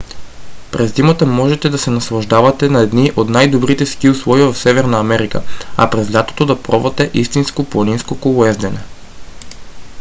през зимата можете да се наслаждавате на едни от най-добрите ски условия в северна америка а през лятото да пробвате истинско планинско колоездене